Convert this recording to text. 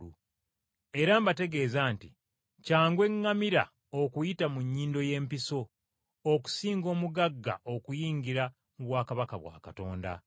Era mbategeeza nti kyangu eŋŋamira okuyita mu nnyindo y’empiso, okusinga omugagga okuyingira mu bwakabaka bwa Katonda!”